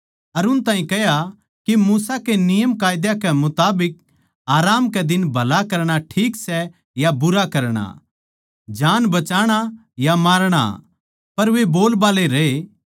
अर उन ताहीं कह्या के मूसा के नियमकायदा कै मुताबिक आराम कै दिन भला करणा ठीक सै या बुरा करणा जान नै बचाणा या मारणा पर वे बोलबाल्ले रहे